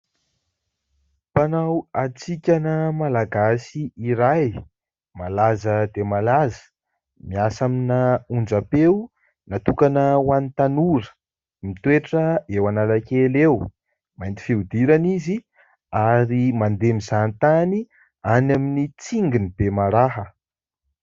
Mpanao hatsikana malagasy iray malaza dia malaza, miasa amina onjapeo natokana ho an'ny tanora, mitoetra eo Analakely eo, mainty fihodirana izy ary mandeha mizaha tany any amin'ny Tsingin'ny bemaraha.